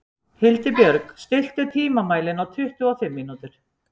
Hildibjörg, stilltu tímamælinn á tuttugu og fimm mínútur.